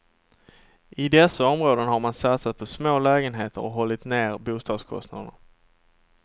I dessa områden har man satsat på små lägenheter och hållit ner bostadskostnaderna.